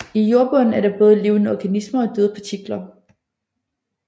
I jordbunden er der både levende organismer og døde partikler